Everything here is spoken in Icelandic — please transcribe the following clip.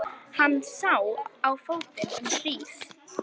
Hann sá á fótinn um hríð.